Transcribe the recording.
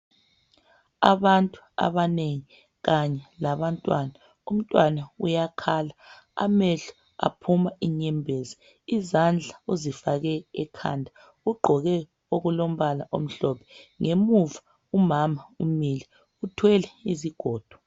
Abantu abanengi kanye labantwana. Umntwana uyakhala, amehlo aphuma inyembezi. Izandla uzifake ekhanda. Ugqoke okulombala omhlophe. Ngemuva umama umile, uthwele izigodo.